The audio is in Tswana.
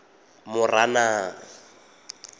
moranang